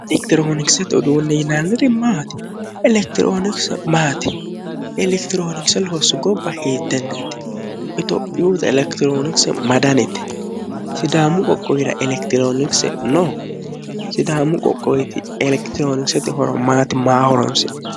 elekitiroonikisete uduunne yinanniri maati? elekitiroonikise maati? elekitiroonikise loossu gobba hiittenneeti? itophiyu elekitiroonikise ma danite? sidaamu qoqqowira elekitiroonikise no? sidaamu qoqqowiti elekitiroonikisete horo maati maaho horonsi'nanni.